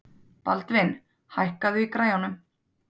Baldvin, hækkaðu í græjunum.